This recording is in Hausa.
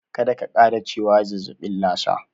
Kada ka ƙara cewa zazzaɓin Lasa.